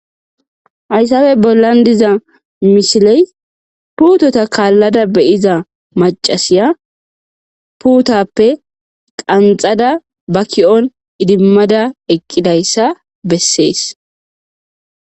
hayssappe bollan diza misiley putota kalladda be'iza macasiya putappe qanxadda ba ki'on idimadda eqqidayssa bessees